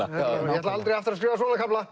ætla aldrei aftur að skrifa svona kafla